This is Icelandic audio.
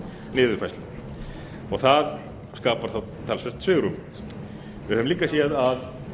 niðurfærslu og það skapar þá talsvert svigrúm við höfum líka séð að